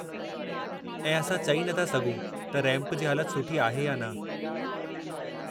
ऐं असां चई नथा सघूं त रैंप जी हालत सुठी आहे या न।